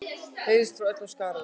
heyrðist frá öllum skaranum.